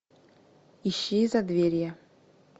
ищи задверье